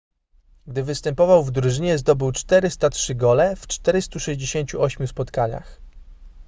gdy występował w drużynie zdobył 403 gole w 468 spotkaniach